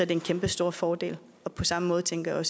det en kæmpestor fordel på samme måde tænker jeg